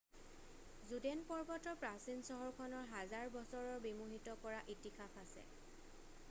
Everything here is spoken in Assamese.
জুডেন পৰ্বতৰ প্ৰাচীন চহৰখনৰ হাজাৰ বছৰৰ বিমোহিত কৰা ইতিহাস আছে